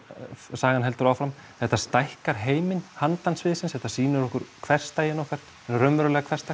sagan heldur áfram þetta stækkar heiminn handan sviðsins þetta sýnir okkur hversdaginn okkar hinn raunverulega